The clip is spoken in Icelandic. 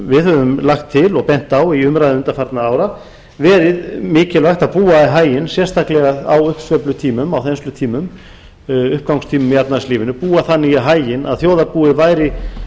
við höfum lagt til og bent á í umræðum undanfarinna ára verið mikilvægt að búa í haginn sérstaklega á uppsveiflutímum á þenslutímum uppgangstímum í efnahagslífinu búa þannig í haginn að þjóðarbúið væri